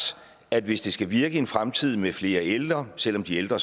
at hvis det skal virke i en fremtid med flere ældre selv om de ældre